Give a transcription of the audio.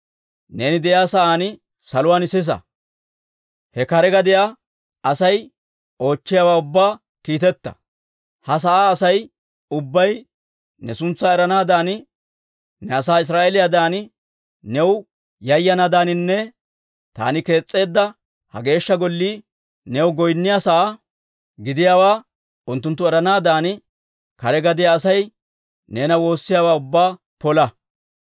neeni de'iyaa sa'aan saluwaan sisa. He kare gadiyaa Asay oochchiyaawaa ubbaa kiiteta. Ha sa'aa Asay ubbay ne suntsaa eranaadan, ne asaa Israa'eeliyaadan new yayanaadaaninne taani kees's'eedda ha Geeshsha Gollii new goynniyaa sa'aa giddiyaawaa unttunttu eranaadan kare gadiyaa Asay neena woossiyaawaa ubbaa pola.